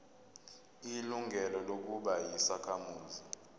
ilungelo lokuba yisakhamuzi